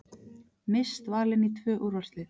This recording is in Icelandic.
Mist valin í tvö úrvalslið